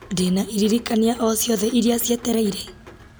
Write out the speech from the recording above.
ndĩna iririkania o ciothe iria cietereire